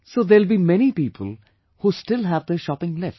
So there will be many people, who still have their shopping left